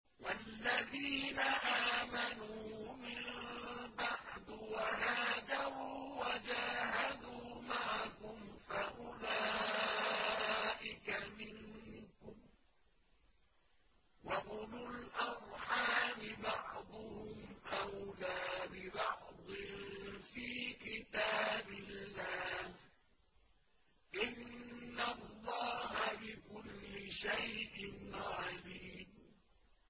وَالَّذِينَ آمَنُوا مِن بَعْدُ وَهَاجَرُوا وَجَاهَدُوا مَعَكُمْ فَأُولَٰئِكَ مِنكُمْ ۚ وَأُولُو الْأَرْحَامِ بَعْضُهُمْ أَوْلَىٰ بِبَعْضٍ فِي كِتَابِ اللَّهِ ۗ إِنَّ اللَّهَ بِكُلِّ شَيْءٍ عَلِيمٌ